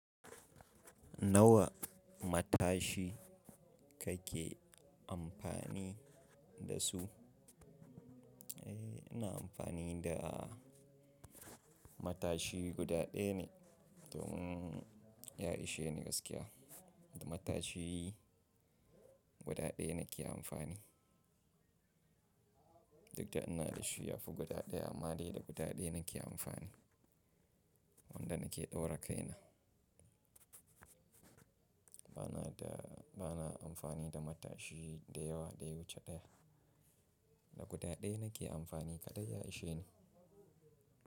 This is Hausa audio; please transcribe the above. Nawa matashi kake amfani da su? Eh ina amfani da matashi guda ɗaya ne, domun yasheni gaskiya. Wato matashi guda ɗaya nake amfani. Duk da ina da shi yafi guda ɗaya amade da guda ɗaya nake amfani. Wanda nake ɗaura kaina. Bana da, bana amfani da matashi da yawa dai wuce ɗaya. Da guda ɗaya nake amfani kaɗai yashi ne.